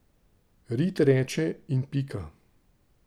Rit reče, in pika.